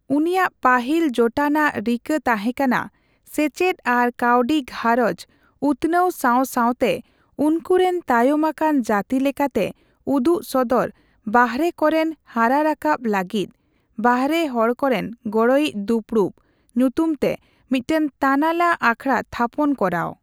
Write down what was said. ᱩᱱᱤᱭᱟᱜ ᱯᱟᱹᱦᱤᱞ ᱡᱳᱴᱟᱱᱟᱜ ᱨᱤᱠᱟᱹ ᱛᱟᱦᱮᱸᱠᱟᱱᱟ ᱥᱮᱪᱮᱫ ᱟᱨ ᱠᱟᱹᱣᱰᱤᱼᱜᱷᱟᱨᱚᱸᱡᱽ ᱩᱛᱱᱟᱹᱣ ᱥᱟᱣ ᱥᱟᱣᱛᱮ ᱩᱱᱠᱩ ᱨᱮᱱ ᱛᱟᱭᱚᱢ ᱟᱠᱟᱱ ᱡᱟᱹᱛᱤ ᱞᱮᱠᱟᱛᱮ ᱩᱫᱩᱜ ᱥᱚᱫᱚᱨ ᱵᱟᱦᱨᱮ ᱠᱚᱨᱮᱱ ᱦᱟᱨᱟ ᱨᱟᱠᱟᱵ ᱞᱟᱹᱜᱤᱫ ' ᱵᱟᱦᱨᱮ ᱦᱚᱲᱠᱚᱨᱮᱱ ᱜᱚᱲᱚᱭᱤᱡ ᱫᱩᱯᱲᱩᱵ' ᱧᱩᱛᱩᱢ ᱛᱮ ᱢᱤᱫᱴᱮᱱ ᱛᱟᱱᱟᱞᱟ ᱟᱠᱷᱲᱟ ᱛᱷᱟᱯᱚᱱ ᱠᱚᱨᱟᱣ ᱾